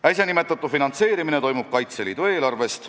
Äsja nimetatud finantseerimine toimub Kaitseliidu eelarvest.